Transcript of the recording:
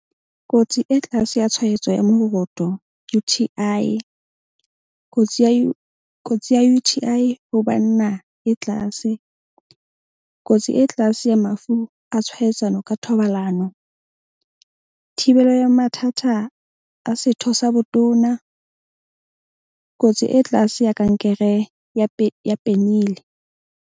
Kotsi e tlase ya tshwaetso ya moroto U_T_I. Kotsi ya kotsi U_T_I ho banna e tlase. Kotsi e tlase ya mafu a tshwaetsano ka thobalano. Thibelo ya mathata a setho sa botona. Kotsi e tlase ya kankere ya ya .